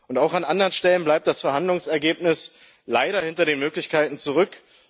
Und auch an anderen Stellen bleibt das Verhandlungsergebnis leider hinter den Möglichkeiten zurück.